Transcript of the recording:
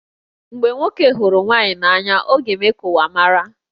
Mgbe nwoke hụrụ nwaanyị n'anya, ọ ga-eme ka ụwa mara